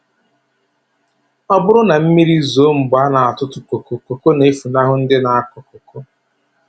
Ọ bụrụ na mmiri zoo mgbe a na-atụtụ koko, koko na-efunahụ ndị na-akọ koko.